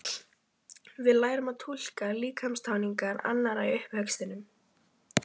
Við lærum að túlka líkamstjáningu annarra í uppvextinum.